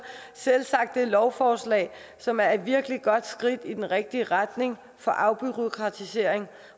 selvsagt dette lovforslag som er et virkelig godt skridt i den rigtige retning for afbureaukratisering